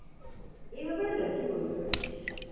এই ব্যাপারে lucky বলতে পারিস।